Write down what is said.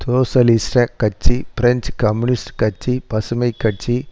socialist கட்சி French communist கட்சி பசுமை கட்சி